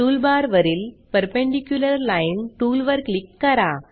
toolbar वरील perpendicular line टूलवर click करा